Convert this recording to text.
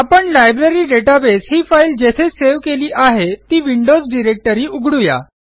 आपण library database ही file जेथे सेव्ह केली आहे ती विंडोज डायरेक्टरी उघडू या